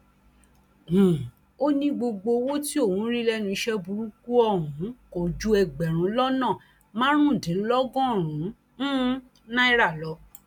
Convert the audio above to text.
um ó ní gbogbo owó tí òun rí lẹnu iṣẹ burúkú ọhún kò ju ẹgbẹrún lọnà márùndínlọgọrùnún um náírà lọ